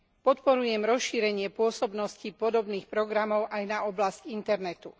Podporujem rozšírenie pôsobnosti podobných programov aj na oblasť internetu.